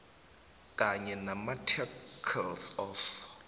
kanye namaarticles of